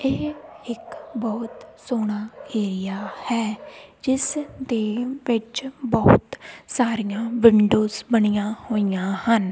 ਇਹ ਇੱਕ ਬਹੁਤ ਸੋਹਣਾ ਏਰੀਆ ਹੈ ਜਿਸਦੇ ਵਿੱਚ ਬਹੁਤ ਸਾਰੀਆਂ ਵਿੰਡੋਜ ਬਣੀਆਂ ਹੋਈਆਂ ਹਨ।